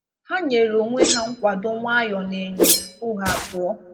Ha nyere onwe ha nkwado nwayọ n’enyo tupu ha apụọ.